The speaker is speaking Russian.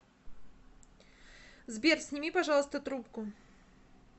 сбер сними пожалуйста трубку